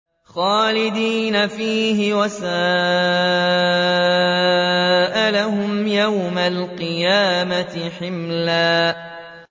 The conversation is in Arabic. خَالِدِينَ فِيهِ ۖ وَسَاءَ لَهُمْ يَوْمَ الْقِيَامَةِ حِمْلًا